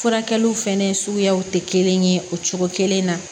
Furakɛliw fɛnɛ suguyaw tɛ kelen ye o cogo kelen na